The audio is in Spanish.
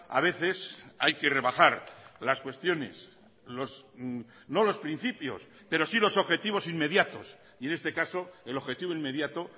a veces hay que rebajar las cuestiones no los principios pero sí los objetivos inmediatos y en este caso el objetivo inmediato